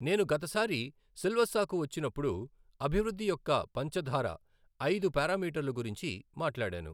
నేను గతసారి సిల్వస్సాకు వచ్చినప్పుడు అభివృద్ధి యొక్క పంచధార ఐదు పారామీటర్లు గురించి మాట్లాడాను.